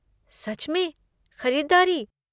सच में? खरीदारी?